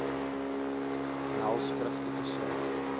nel skriftelik saak